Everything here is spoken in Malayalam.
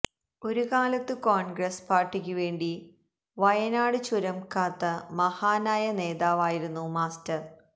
ഒരു കാലത്തു കോൺഗ്രസ് പാർട്ടിക്കുവേണ്ടി വയനാട് ചുരം കാത്ത മഹാനായ നേതാവായിരുന്നു മാസ്റ്റർ